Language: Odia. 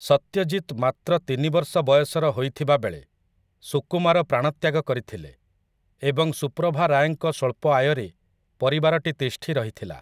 ସତ୍ୟଜିତ୍‌ ମାତ୍ର ତିନି ବର୍ଷ ବୟସର ହୋଇଥିବାବେଳେ, ସୁକୁମାର ପ୍ରାଣତ୍ୟାଗ କରିଥିଲେ ଏବଂ ସୁପ୍ରଭା ରାୟଙ୍କ ସ୍ୱଳ୍ପ ଆୟରେ ପରିବାରଟି ତିଷ୍ଠି ରହିଥିଲା ।